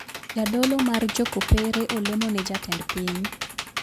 Jadolo mar jokopere olemo ne jatend piny